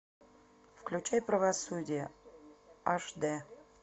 включай правосудие аш дэ